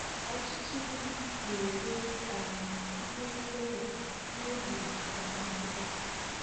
ọtụtụ ndị na-ere um mkpụrụ kola n'oge agbamakwụkwọ.